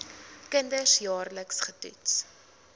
kinders jaarliks getoets